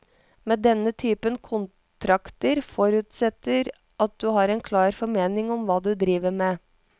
Men denne typen kontrakter forutsetter at du har en klar formening om hva du driver med.